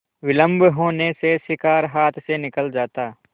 विलम्ब होने से शिकार हाथ से निकल जाता